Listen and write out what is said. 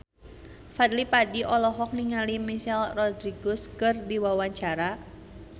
Fadly Padi olohok ningali Michelle Rodriguez keur diwawancara